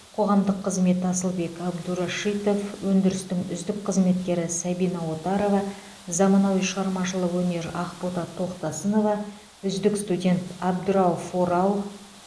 қоғамдық қызмет асылбек әбдурашитов өндірістің үздік қызметкері сабина отарова заманауи шығармашылық өнер ақбота тоқтасынова үздік студент абдрауф орал